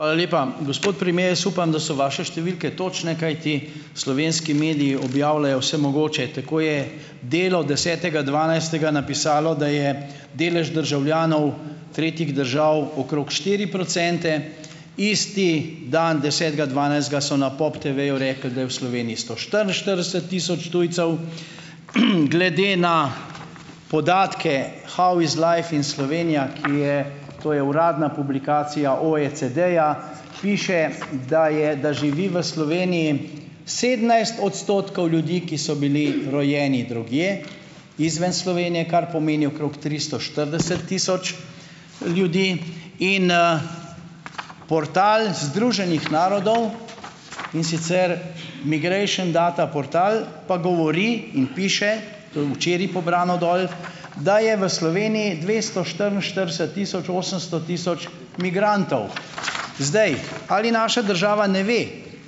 Hvala lepa. Gospod premier, jaz upam, da so vaše številke točne, kajti slovenski mediji objavljajo vse mogoče. Tako je Delo desetega dvanajstega napisalo, da je delež državljanov tretjih držav okrog štiri procente, isti dan, desetega dvanajstega so na POPTV-ju rekli, da je v Sloveniji sto štiriinštirideset tisoč tujcev. Glede na podatke How iz life in Slovenia, ki je ... To je uradna publikacija OECD-ja, piše, da je, da živi v Sloveniji sedemnajst odstotkov ljudi, ki so bili rojeni drugje, izven Slovenije, kar pomeni okrog tristo štirideset tisoč ljudi in, portal Združenih narodov, in sicer Migration data portal, pa govori in piše, to je včeraj pobrano dol, da je v Sloveniji dvesto štiriinštirideset tisoč osemsto tisoč migrantov. Zdaj ... Ali naša država ne ve,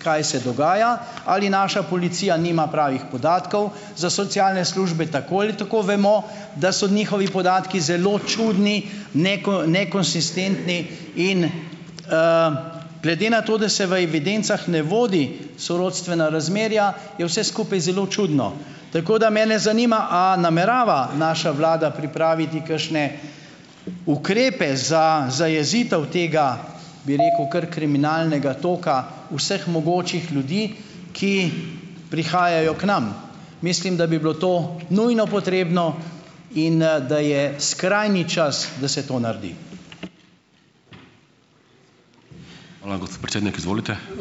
kaj se dogaja? Ali naša policija nima pravih podatkov? Za socialne službe tako ali tako vemo, da so njihovi podatki zelo čudni, nekonsistentni. In, glede na to, da se v evidencah ne vodi sorodstvena razmerja, je vse skupaj zelo čudno. Tako da mene zanima, a namerava naša vlada pripraviti kakšne ukrepe za zajezitev tega, bi rekel, kar kriminalnega toka vseh mogočih ljudi, ki prihajajo k nam. Mislim, da bi bilo to nujno potrebno in, da je skrajni čas, da se to naredi.